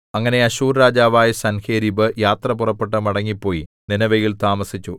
അങ്ങനെ അശ്ശൂർ രാജാവായ സൻഹേരീബ് യാത്ര പുറപ്പെട്ടു മടങ്ങിപ്പോയി നീനെവേയിൽ താമസിച്ചു